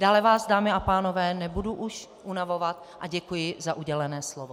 Dále vás, dámy a pánové, nebudu už unavovat a děkuji za udělené slovo.